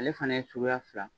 Ale fana ye suguya fila